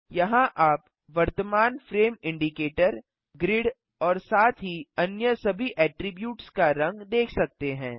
यहाँ आप वर्तमान फ्रेम इंडिकेटर ग्रिड और साथ ही अन्य सभी एट्रिब्यूट्स का रंग देख सकते हैं